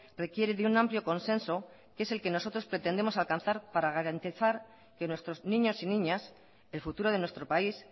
requiere de un amplio consenso que es el que nosotros pretendemos alcanzar para garantizar que nuestros niños y niñas el futuro de nuestro país